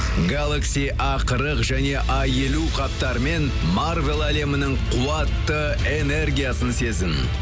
галакси а қырық және а елу қаптарымен марвел әлемінің қуатты энергиясын сезін